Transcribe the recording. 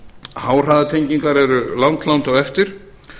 háhraðatengingar eru langt langt á eftir